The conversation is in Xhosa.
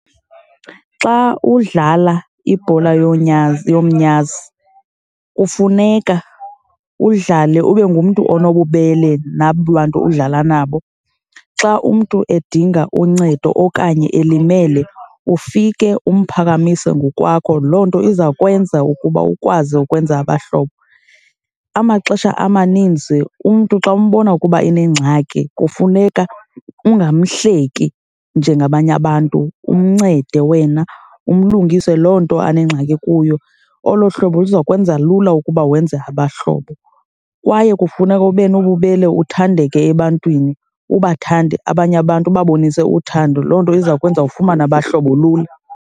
Xa udlala ibhola yonyazi, yomnyazi, kufuneka udlale ube ngumntu onobubele nabo bantu udlala nabo. Xa umntu edinga uncedo okanye elimele, ufike umphakamise ngokwakho. Loo nto izawukwenza ukuba ukwazi ukwenza abahlobo. Amaxesha amaninzi umntu xa umbona ukuba unengxaki, kufuneka ungamhleki njengabanye abantu, umncede wena, umlungise loo nto anengxaki kuyo. Olo hlobo luzawukwenza lula ukuba wenze abahlobo. Kwaye kufuneka ube nobubele, uthandeke ebantwini. Ubathande abanye abantu, ubabonise uthando..Loo nto izawukwenza ufumane abahlobo lula.